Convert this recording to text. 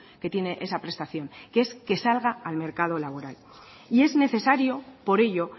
que tiene esa prestación que es que salga al mercado laboral y es necesario por ello